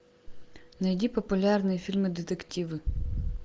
найди популярные фильмы детективы